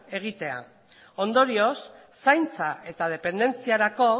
egitera ondorioz zaintza eta dependentziarako